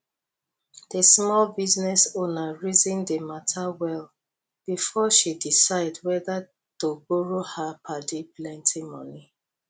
di small business owner reason di matter well before she decide whether to borrow her padi plenty money